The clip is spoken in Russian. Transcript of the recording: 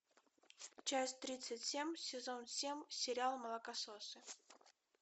часть тридцать семь сезон семь сериал молокососы